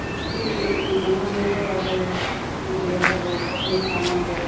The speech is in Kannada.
ಸುತ್ಕಿ ನಮ್ ಮನೇಲೂ ಅದವೇ ಸುತ್ಕಿ ಎ ಎಲ್ಲ ಕಬ್ಬಿಣ ಸಾಮಾನುಗಳು.